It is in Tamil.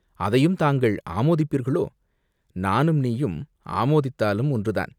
அதையும் தாங்கள் ஆமோதிப்பீர்களோ?" "நானும் நீயும் ஆமோதித்தாலும் ஒன்றுதான்!